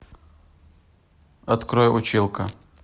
открой училка